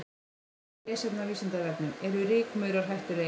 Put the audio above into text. Frekara lesefni á Vísindavefnum: Eru rykmaurar hættulegir?